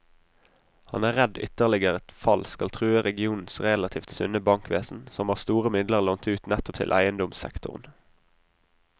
Han er redd ytterligere fall skal true regionens relativt sunne bankvesen, som har store midler lånt ut nettopp til eiendomssektoren.